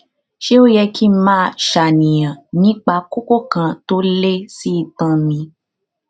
ṣé ó yẹ kí n máa ṣàníyàn nípa kókó kan tó lé sí itan mi